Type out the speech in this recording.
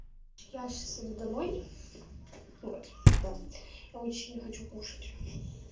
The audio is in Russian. я сейчас иду домой вот да я очень сильно хочу кушать